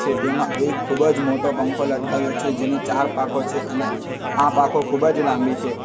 તેમાં એક ખૂબ જ મોટો પંખો લટકાવ્યો છે જેની ચાર પાકો છે અને આ પાકો ખૂબ જ લાંબી છે.